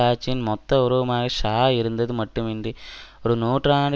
ஆட்சியின் மொத்த உருவமாக ஷா இருந்தது மட்டும் இன்றி ஒரு நூற்றாண்டு